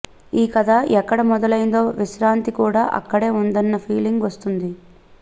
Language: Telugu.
ఈ కథ ఎక్కడ మొదలైందో విశ్రాంతికి కూడా అక్కడే ఉందన్న ఫీలింగ్ వస్తుంది